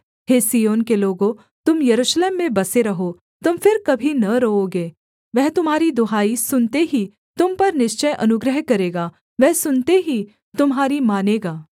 हे Zion के लोगों तुम यरूशलेम में बसे रहो तुम फिर कभी न रोओगे वह तुम्हारी दुहाई सुनते ही तुम पर निश्चय अनुग्रह करेगा वह सुनते ही तुम्हारी मानेगा